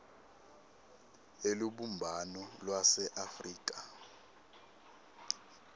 elubumbano lwase afrika